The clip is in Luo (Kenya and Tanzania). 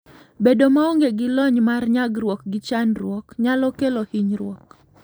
Bedo maonge gi lony mar nyagruok gi chandruok nyalo kelo hinyruok.